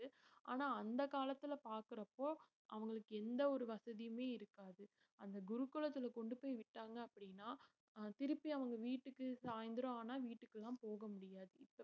ஆனா அந்த காலத்துல பாக்கறப்போ அவங்களுக்கு எந்த ஒரு வசதியுமே இருக்காது அந்த குருகுலத்துல கொண்டு போய் விட்டாங்க அப்படின்னா அஹ் திருப்பி அவங்க வீட்டுக்கு சாயந்திரம் ஆனா வீட்டுக்கு எல்லாம் போக முடியாது